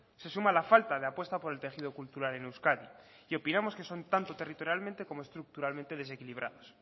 se suma la falta de apuesta por el tejido cultural en euskadi y opinamos que son tanto territorialmente como estructuralmente desequilibrados